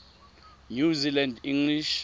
new zealand english